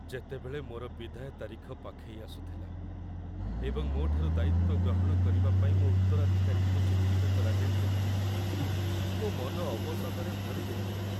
ଯେତେବେଳେ ମୋର ବିଦାୟ ତାରିଖ ପାଖେଇ ଆସୁଥିଲା ଏବଂ ମୋ ଠାରୁ ଦାୟିତ୍ୱ ଗ୍ରହଣ କରିବା ପାଇଁ ମୋ ଉତ୍ତରାଧିକାରୀଙ୍କୁ ଚିହ୍ନଟ କରାଯାଇଥିଲା, ମୋ ମନ ଅବସାଦରେ ଭରିଯାଇଥିଲା ।